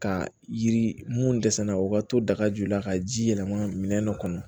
Ka yiri mun dɛsɛ na o ka to daga ju la ka ji yɛlɛma minɛn dɔ kɔnɔ